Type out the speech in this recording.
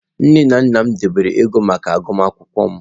Nne na nna m debere ego maka agụmakwụkwọ m.